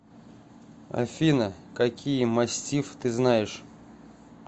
афина какие мастифф ты знаешь